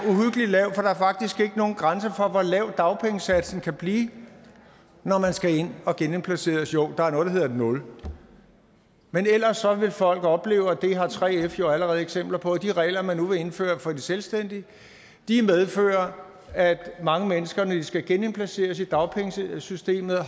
faktisk ikke nogen grænse for hvor lav dagpengesatsen kan blive når man skal ind og genindplaceres jo der er noget der hedder et nul men ellers vil folk opleve og det har 3f jo allerede eksempler på at de regler man nu vil indføre for de selvstændige medfører at mange mennesker når de skal genindplaceres i dagpengesystemet